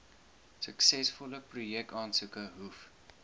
suksesvolle projekaansoeke hoef